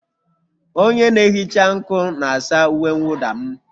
Onye na-ehicha nkụ na-asa uwe mwụda m.